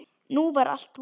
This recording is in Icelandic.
Nú var allt búið.